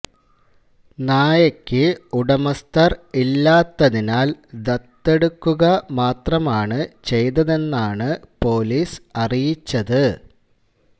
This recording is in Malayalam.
നായക്ക് ഉടമസ്ഥര് ഇല്ലാത്തതിനാല് ദത്തെടുക്കുക മാത്രമാണ് ചെയ്തതെന്നാണ് പോലീസ് അറിയിച്ചത്